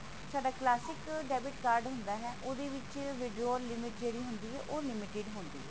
ਸਾਡਾ classic debit card ਹੁੰਦਾ ਹੈ ਉਹਦੇ ਵਿੱਚ withdraw limit ਜਿਹੜੀ ਹੁੰਦੀ ਹੈ ਉਹ limited ਹੁੰਦੀ ਹੈ